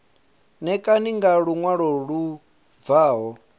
ṋekane nga luṅwalo lu bvaho